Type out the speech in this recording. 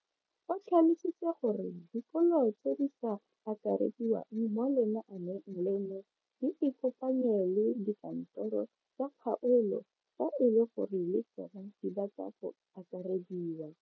O tlhalositse gore dikolo tse di sa akarediwang mo lenaaneng leno di ikopanye le dikantoro tsa kgaolo fa e le gore le tsona di batla go akarediwa.